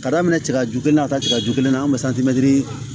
Ka daminɛ tiga ju kelen na ka taa tigɛju kelen na an be